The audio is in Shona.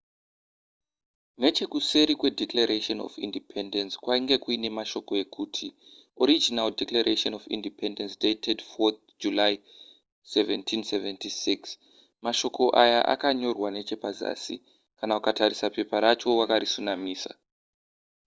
nechekuseri kwedeclaration of independence kwainge kuine mashoko ekuti original declaration of independence dated 4th july 1776 mashoko aya akanyorwa nechepazasi kana ukatarisa pepa racho wakarisunamisa